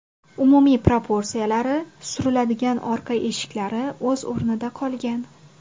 Umumiy proporsiyalari, suriladigan orqa eshiklari o‘z o‘rnida qolgan.